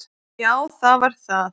Já það var það.